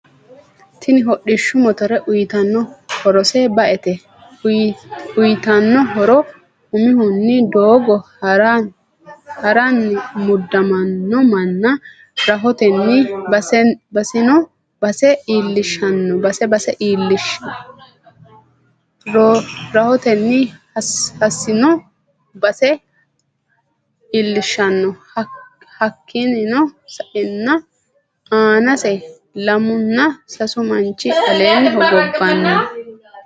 Tinni hodhishshu motore uyitano horrose ba'ete. Uyiitano horro umihuni doogo harrani mudaminno Mana rahotenni hasino basse iiliahshano. Hakiino sa'eena aanase lamuna sasu manchi aleeni hogobani.